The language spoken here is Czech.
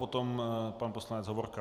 Potom pan poslanec Hovorka.